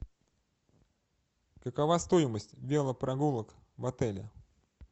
какова стоимость велопрогулок в отеле